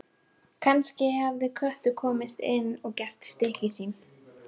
Kannski hafði köttur komist inn og gert stykki sín.